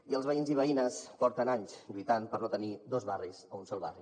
i els veïns i veïnes fa anys que lluiten per no tenir dos barris a un sol barri